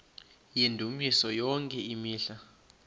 yendumiso yonke imihla